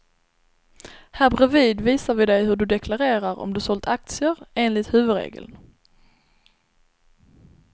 Här bredvid visar vi dig hur du deklarerar om du sålt aktier, enligt huvudregeln.